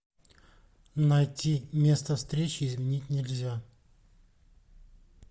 найти место встречи изменить нельзя